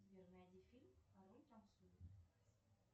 сбер найди фильм король танцует